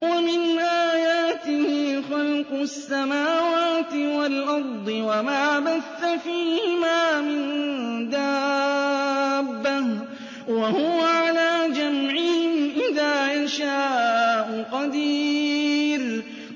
وَمِنْ آيَاتِهِ خَلْقُ السَّمَاوَاتِ وَالْأَرْضِ وَمَا بَثَّ فِيهِمَا مِن دَابَّةٍ ۚ وَهُوَ عَلَىٰ جَمْعِهِمْ إِذَا يَشَاءُ قَدِيرٌ